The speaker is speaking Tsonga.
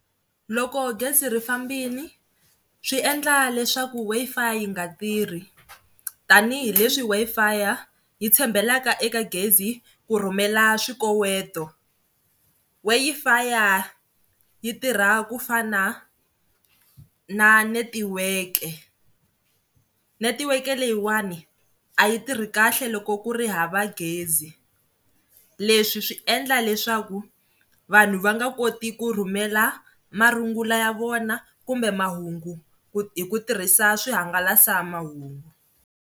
Loko gezi ri fambini swi endla leswaku Wi-Fi yi nga tirhi tanihileswi Wi-Fi-ya yi tshembelaka eka gezi ku rhumela swikoweto Wi-Fi-ya yi tirha ku fana na netiweke. Netiweke leyiwani a yi tirha kahle loko ku ri hava gezi leswi swi endla leswaku vanhu va nga koti ku rhumela marungulo ya vona kumbe mahungu hi ku tirhisa swihangalasamahungu.